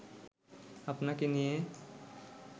আপনাকে নিয়ে